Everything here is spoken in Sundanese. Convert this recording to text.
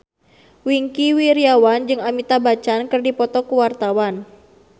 Wingky Wiryawan jeung Amitabh Bachchan keur dipoto ku wartawan